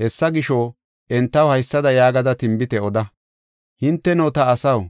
Hessa gisho, entaw haysada yaagada tinbite oda; ‘Hinteno, ta asaw,